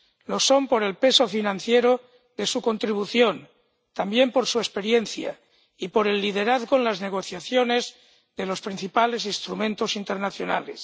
Lo son por el peso financiero de su contribución, también por su experiencia y por el liderazgo en las negociaciones de los principales instrumentos internacionales.